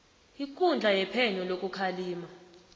ikundla yephenyo lokukhalima